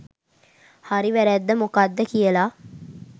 හරි වැරද්ද මොකක්ද කියලා